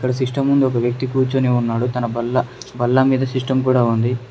System ముందు ఒక వ్యక్తి కూర్చొని ఉన్నాడు తన బల్ల బల్ల మీద సిస్టమ్ కూడా ఉంది.